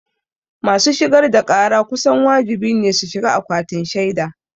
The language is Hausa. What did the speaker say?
Masu shigar da ƙara kusan wajibi ne su shiga akwatin shaida.